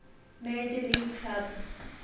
major league clubs